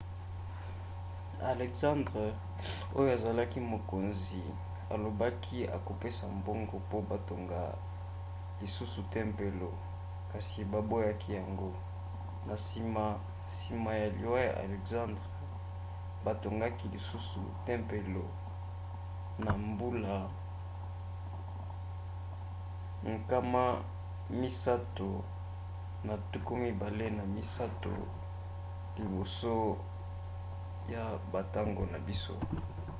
alexandre oyo azalaki mokonzi alobaki akopesa mbongo mpo batonga lisusu tempelo kasi baboyaki yango. na nsima nsima ya liwa ya alexandre batongaki lisusu tempelo na mbula 323 liboso ya bantango na biso